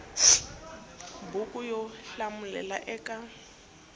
ya buku yo hlamulela eka